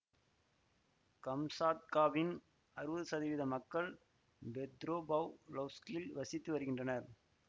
கம்சாத்காவின் அறுவது சதவீத மக்கள் பெத்ரொபாவ்லொவ்ஸ்கில் வசித்து வருகின்றனர்